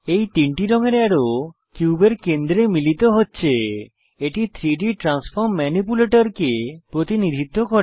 এই তিনটি রঙের অ্যারো কিউবের কেন্দ্রে মিলিত হচ্ছে এটি 3ডি ট্রান্সফর্ম ম্যানিপ্যুলেটরকে প্রতিনিধিত্ব করে